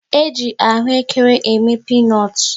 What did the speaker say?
E ji ahụekere eme pinut